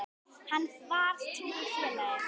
Hann var trúr félagi.